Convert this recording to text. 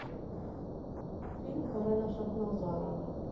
фильм карена шахназарова